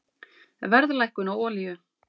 Verðlækkun á olíu